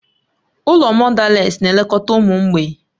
Ụlọ mọdales na-elekọta ụmụ mgbei